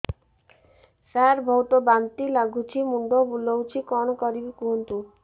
ସାର ବହୁତ ବାନ୍ତି ଲାଗୁଛି ମୁଣ୍ଡ ବୁଲୋଉଛି କଣ କରିବି କୁହନ୍ତୁ